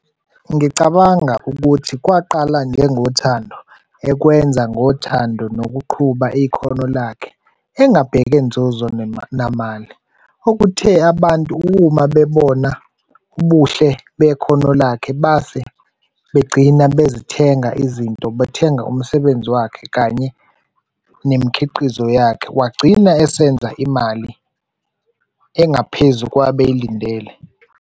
Ngicabanga ukuthi kwaqala njengothando, ekwenza ngothando nokuqhuba ikhono lakhe engabheka nzuzo namali, okuthe abantu uma bebona ubuhle bekhona lakhe base begcina bezithenga izinto, bethenga umsebenzi wakhe kanye nemikhiqizo yakhe. Wagcina esenza imali engaphezu kwabeyilindele.